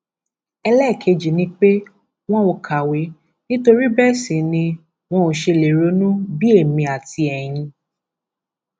ẹlẹẹkejì ni pé wọn ò kàwé nítorí bẹẹ sì ni wọn ò ṣe lè ronú bíi èmi àti ẹyin